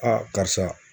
karisa